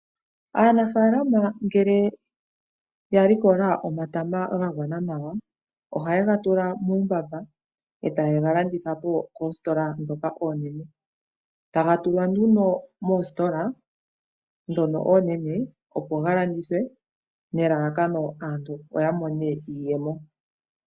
Aanafalama ngele ya likola omatama gagwana nawa, ohaye gatula muumbaba etaye galandithapo koositola ndhoka oonene, taga tulwa nduno moositola dhono oonene opo galandithwe nelalakono aantu opo yamone iiyemo.